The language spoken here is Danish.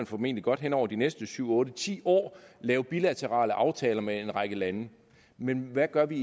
formentlig godt hen over de næste syv otte ti år lave bilaterale aftaler med en række lande men hvad gør vi